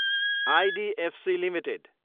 IDFC Ltd